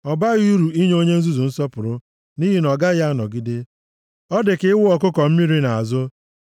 Ọ baghị uru inye onye nzuzu nsọpụrụ, nʼihi na ọ gaghị anọgide. Ọ dị ka ịwụ ọkụkọ mmiri nʼazụ.